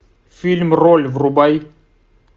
фильм роль врубай